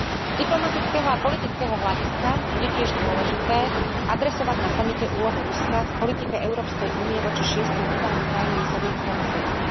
Z diplomatického a politického hľadiska bude tiež dôležité adresovať na samite úlohu Ruska v politike Európskej únie voči šiestim bývalým krajinám Sovietskeho zväzu.